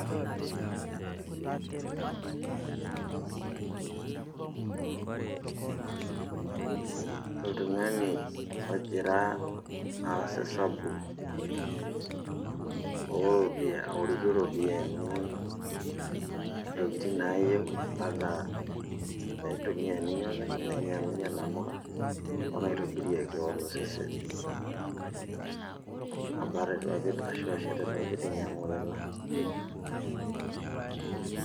Oltung'ani ojira aas esabu, aorikie ropiyaiani ntokiting' naayieu enaa naitumia ninye openy, nainyang'unye namuka, onaitobirie keon osesen, abarn irpapit ashu ashet irpapit ninyang'u iila.